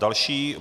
Další -